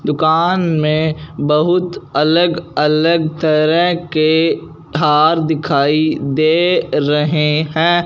दुकान में बहुत अलग अलग तरह के थार दिखाई दे रहे हैं।